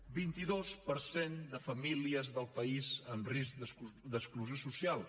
un vint dos per cent de famílies del país en risc d’exclusió social